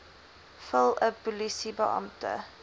vul n polisiebeampte